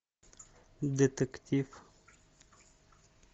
детектив